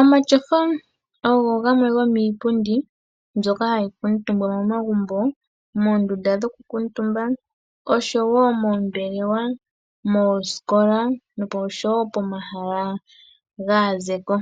Omatyofa ogo gamwe gomiipundi mbyoka hayi kuutumbwa momagumbo moondunda dhokukuutumba oshowo moombelewa, moosikola noshowo pomahala gaazeko.